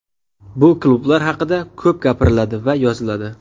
Bu klublar haqida ko‘p gapiriladi va yoziladi.